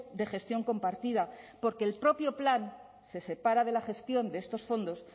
de gestión compartida porque el propio plan se separa la gestión de estos fondos